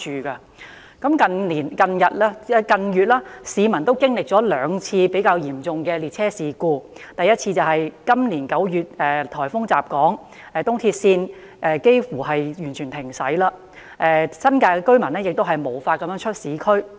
市民近月已經歷兩次比較嚴重的列車事故，第一次是今年9月颱風襲港後，東鐵線近乎全面停駛，新界居民無法前往市區。